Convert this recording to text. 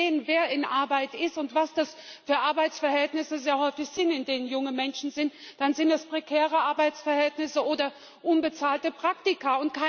Wenn Sie sehen, wer in Arbeit ist und was das sehr häufig für Arbeitsverhältnisse sind, in denen junge Menschen sind, dann sind das prekäre Arbeitsverhältnisse oder unbezahlte Praktika.